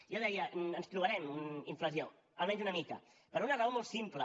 jo deia ens trobarem inflació almenys una mica per una raó molt simple